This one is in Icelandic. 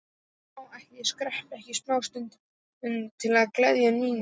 Já, ætli ég skreppi ekki smástund til að gleðja Nínu.